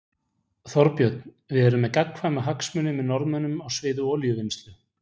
Þorbjörn: Við erum með gagnkvæma hagsmuni með Norðmönnum á sviði olíuvinnslu?